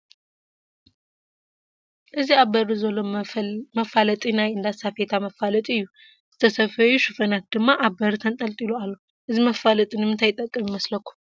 እዚ ኣብ በሪ ዘሎ መፋለጢ ናይ እንዳ ሳፌታ መፋለጢ እዩ፡፡ ዝተሰፈዩ ሹፈናት ድማ ኣብ በሪ ተንጠልጢሎም ኣለዉ፡፡ እዚ መፋለጢ ንምንታይ ይጠቅም?